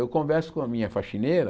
Eu converso com a minha faxineira,